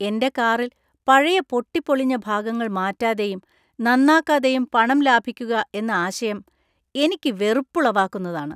എന്‍റെ കാറിൽ പഴയ പൊട്ടിപ്പൊളിഞ്ഞ ഭാഗങ്ങൾ മാറ്റാതെയും നന്നാക്കാതെയും പണം ലാഭിക്കുക എന്ന ആശയം എനിക്ക് വെറുപ്പുളവാക്കുന്നതാണ്.